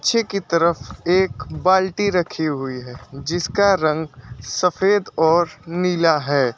पीछे की तरफ एक बाल्टी रखी हुई है जिसका रंग सफेद और नीला है।